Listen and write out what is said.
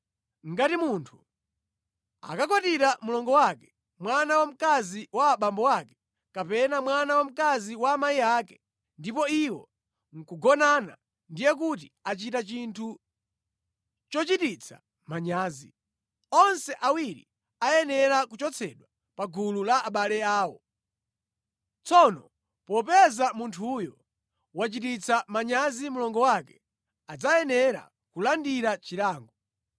“ ‘Ngati munthu akakwatira mlongo wake, mwana wamkazi wa abambo ake, kapena mwana wamkazi wa amayi ake, ndipo iwo nʼkugonana, ndiye kuti achita chinthu chochititsa manyazi. Onse awiri ayenera kuchotsedwa pa gulu la abale awo. Tsono popeza munthuyo wachititsa manyazi mlongo wake, adzayenera kulandira chilango.